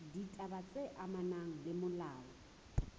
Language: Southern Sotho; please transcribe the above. ditaba tse amanang le molao